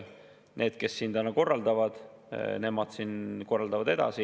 Need, kes siin juba korraldavad, korraldavad edasi.